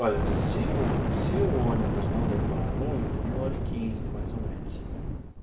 Olha, se o se o ônibus não demorar muito, uma hora e quinze, mais ou menos.